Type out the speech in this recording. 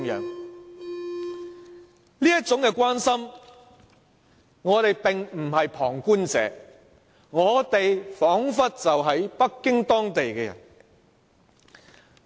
我們的這種關心，表示我們並非旁觀者，彷彿是北京當地的人。